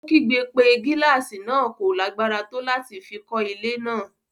Ó kígbe pé gílàsì náà kò lágbára tó láti fi kọ́ ilé náà.